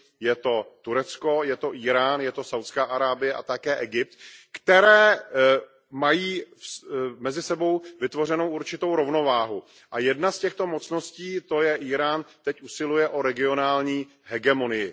Je to Turecko, je to Írán, je to Saúdská Arábie a také Egypt, které mají mezi sebou vytvořenou určitou rovnováhu a jedna z těchto mocností, to je Írán, teď usiluje o regionální hegemonii.